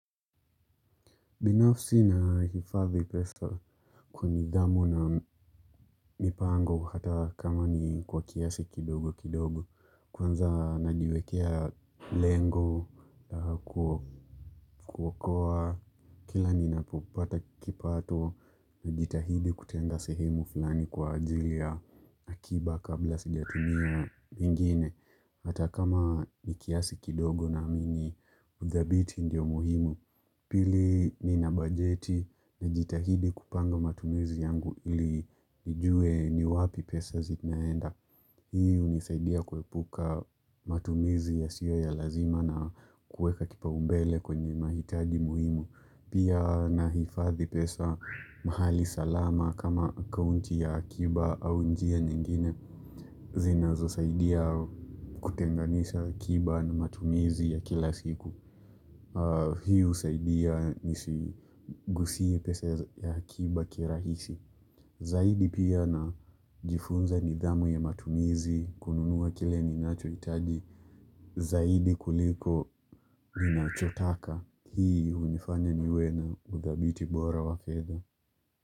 Binafsi na hifadhi pesa kwa nidhamu na mipango kwa hata kama ni kwa kiasi kidogo kidogo. Kwanza najiwekea lengo ma kuokoa kila ni napopata kipato najitahidi kutenga sehemu fulani kwa ajili ya akiba kabla sijatumia ingine. Hata kama ni kiasi kidogo naamini, utabidhi ndio muhimu. Pili, nina bajeti nijitahidi kupanga matumizi yangu ili nijue ni wapi pesa zi naenda. Hii hunisaidia kuepuka matumizi yasiyo ya lazima na kueka kipau mbele kwenye mahitaji muhimu. Pia na hifadhi pesa mahali salama kama akaunti ya akiba au njia nyingine. Zinazo saidia kutenganisha akiba na matumizi ya kila siku. Hiu husaidia nisiguze pesa ya akiba kirahisi Zaidi pia najifunza nidhamu ya matumizi kununua kile ninachohitaji Zaidi kuliko ninachotaka, Hii hunifanya niwe na udhabiti bora wa fedha.